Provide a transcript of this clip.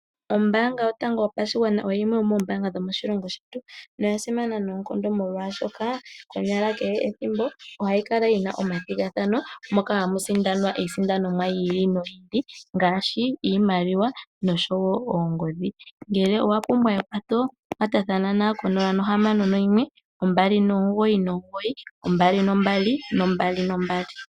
Ombaanga yotango yopashigwana oyo yimwe yomoombaanga dhomoshilongo shetu noya simana noonkondo molwashoka konyala kehe ethimbo ohayi kala yi na omathigathano moka hamu sindanwa iisindanomwa yi ili noyi ili ngaashi iimaliwa noshowo oongodhi. Ngele owa pumbwa ekwatho kwatathana nayo ko 061 2992222.